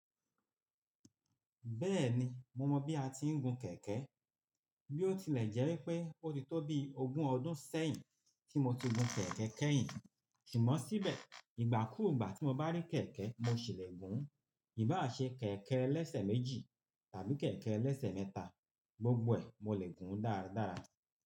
Bẹ́ẹ̀ni, mo mọ bí a ti ń gun kẹ̀kẹ́. Bí ó tilẹ̀ jẹ́ wípé ó ti tó bi ogun ọdún sẹ́yìn tí mo ti gun kẹ̀kẹ́ kẹ́yìn, ṣùgbọ́n síbẹ̀ ìgbàkúùgbà tí mo bá rí kẹ̀kẹ́, mo ṣì lè gún un. Ìbá à ṣe kẹ̀kẹ́ ẹlẹ́sẹ̀ méjì tàbí kẹ̀kẹ́ ẹlẹ́sẹ̀ mẹ́ta, gbogbo ẹ̀ mo lè gùn ún dáradára.